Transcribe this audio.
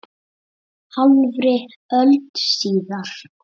Hálfri öld síðar.